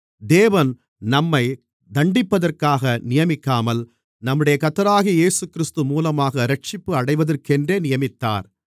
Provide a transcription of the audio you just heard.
தேவன் நம்மைத் தண்டிப்பதற்காக நியமிக்காமல் நம்முடைய கர்த்தராகிய இயேசுகிறிஸ்து மூலமாக இரட்சிப்படைவதற்கென்று நியமித்தார்